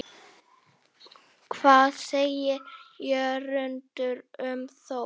Hvað segir Jörundur um Þór?